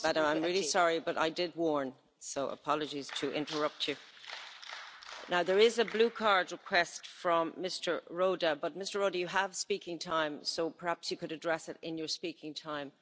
I'm really sorry, but I did warn, so apologies for interrupting you. There is a blue card request from Mr Rohde, but Mr Rohde you have speaking time so perhaps you could address it in your speaking time.